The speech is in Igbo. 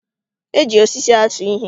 E ji osisi atụ ihe